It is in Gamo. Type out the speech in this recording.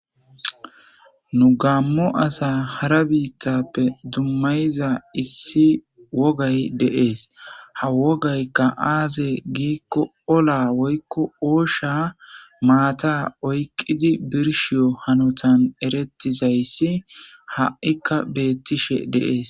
Nu gammo asa hara biittappe dummayiza issi wogay de'es ha wogaykka aaze giikko ola woykko oosha maata oyqidi birshiyo hanotan erettizayssi ha'ikka beettishe de'es